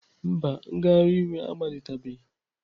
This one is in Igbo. Mba, ngagharị iwe a amalitebeghị.